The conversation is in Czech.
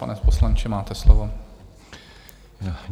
Pane poslanče, máte slovo.